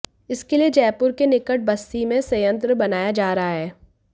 इसके लिए जयपुर के निकट बस्सी में संयंत्र बनाया जा रहा है